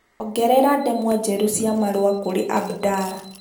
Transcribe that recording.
ongerera ndemwa njerũ cia marũa kũrĩ abdalla